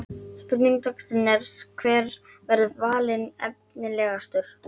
Spurning dagsins er: Hver verður valinn efnilegastur?